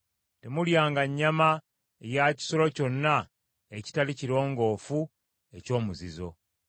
Temulyanga nnyama ya kisolo kyonna ekitali kirongoofu eky’omuzizo.